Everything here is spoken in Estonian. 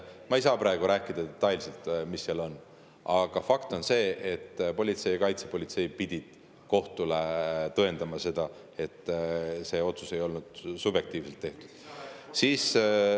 Ma ei saa praegu rääkida detailselt, mis seal on, aga fakt on see, et politsei ja kaitsepolitsei pidid kohtule tõendama seda, et see otsus ei olnud subjektiivselt tehtud.